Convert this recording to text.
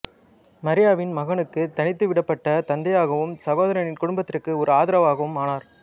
மரியாவின் மகனுக்கு தனித்து விடப்பட்ட தந்தையாகவும் சகோதரனின் குடும்பத்திற்கு ஒரே ஆதரவாகவும் ஆனார்